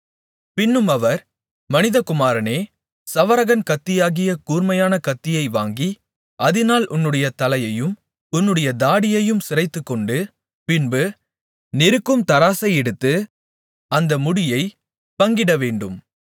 பின்னும் அவர் மனிதகுமாரனே சவரகன் கத்தியாகிய கூர்மையான கத்தியை வாங்கி அதினால் உன்னுடைய தலையையும் உன்னுடைய தாடியையும் சிரைத்துக்கொண்டு பின்பு நிறுக்கும் தராசை எடுத்து அந்த முடியைப் பங்கிடவேண்டும்